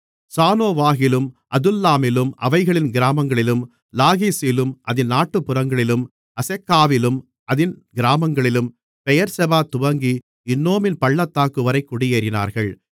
சானோவாகிலும் அதுல்லாமிலும் அவைகளின் கிராமங்களிலும் லாகீசிலும் அதின் நாட்டுப்புறங்களிலும் அசெக்காவிலும் அதின் கிராமங்களிலும் பெயெர்செபா துவங்கி இன்னோமின் பள்ளத்தாக்குவரை குடியேறினார்கள்